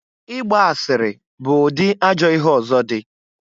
I gba asịrị bụ ụdị ajọ ihe ọzọ dị.